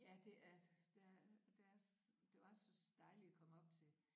Ja det er der der er det var så dejligt at komme op til